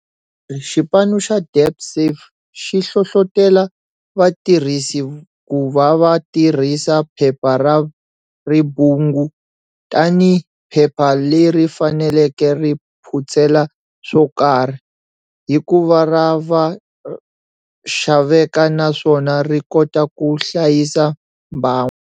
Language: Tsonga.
Lembe leri, xipanu xa DebtSafe xi hlohlotela vatirhisi ku va va tirhisa phepha ra ribungu tanihi phepha leri faneleke ri phutsela swo karhi, hikuva ra xaveka naswona ri kota ku hlayisa mbango.